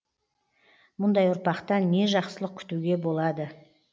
мұндай ұрпақтан не жақсылық күтуге болады